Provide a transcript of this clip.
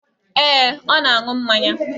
Ee, ọ na-aṅụ mmanya